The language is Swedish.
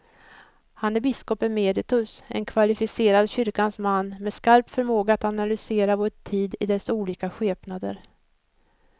Han är biskop emeritus, en kvalificerad kyrkans man med skarp förmåga att analysera vår tid i dess olika skepnader.